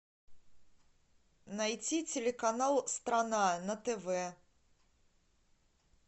найти телеканал страна на тв